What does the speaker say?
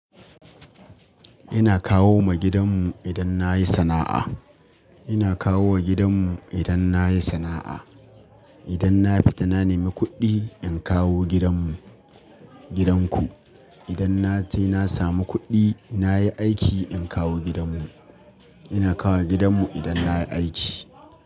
Ina kawo ma gidanmu idan na yi sana'a. Ina kawo wa gidanmu idan na yi sana'a. Idan na fita na nemi kuɗi, in kawo gidanmu, gidan ku. Idan na je na samu kuɗi, na yi aiki, in kawo gidanmu. Ina kawo gidanmu idan na yi aiki.